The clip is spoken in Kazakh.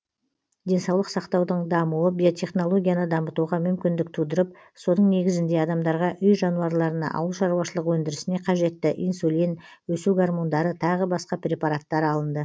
денсаулық сақтаудың дамуы биотехнологияны дамытуға мүмкіндік тудырып соның негізінде адамдарға үй жануарларына ауыл шаруашылығы өндірісіне қажетті инсулин өсу гормондары тағы басқа препараттар алынды